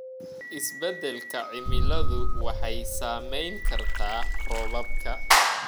Isbeddelka cimiladu waxay saameyn kartaa roobabka.